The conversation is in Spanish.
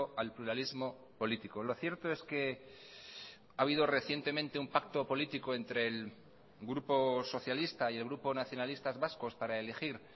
al pluralismo político lo cierto es que ha habido recientemente un pacto político entre el grupo socialista y el grupo nacionalistas vascos para elegir